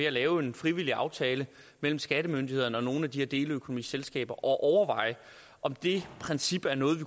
at lave en frivillig aftale mellem skattemyndighederne og nogle af de her deleøkonomiselskaber og overveje om det princip er noget vi